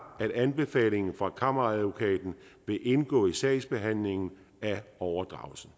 at anbefalingen fra kammeradvokaten vil indgå i sagsbehandlingen af overdragelsen